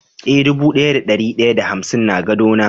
Eh, dubu daya da dari daya da hamsin na gado na.